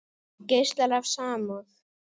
Geislar af samúð.